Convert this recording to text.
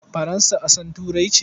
Faransa ƙasar Turai ce?